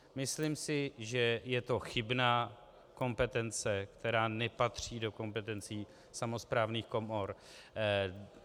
Myslím si, že je to chybná kompetence, která nepatří do kompetencí samosprávných komor.